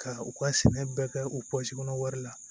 Ka u ka sɛnɛ bɛɛ kɛ o kɔnɔ wari la